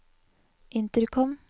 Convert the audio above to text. intercom